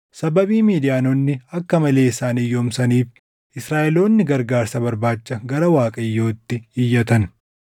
Sababii Midiyaanonni akka malee isaan hiyyoomsaniif Israaʼeloonni gargaarsa barbaacha gara Waaqayyootti iyyatan.